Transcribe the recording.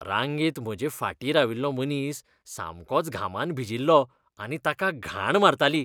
रांगेंत म्हजे फाटीं राविल्लो मनीस सामकोच घामान भिजील्लो आनी ताका घाण मारतली.